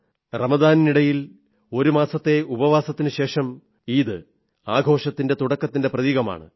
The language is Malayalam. റമദാനിനിടയിൽ ഒരു മാസത്തെ ഉപവാസത്തിനുശേഷം ഈദ് ആഘോഷത്തിന്റെ തുടക്കത്തിന്റെ പ്രതീകമാണ്